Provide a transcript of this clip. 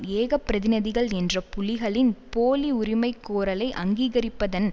ஏக பிரதிநிதிகள் என்ற புலிகளின் போலி உரிமை கோரலை அங்கீகரிப்பதன்